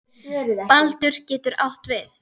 Baldur getur átt við